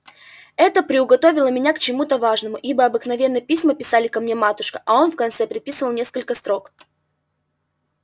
это приуготовило меня к чему-то важному ибо обыкновенно письма писали ко мне матушка а он в конце приписывал несколько строк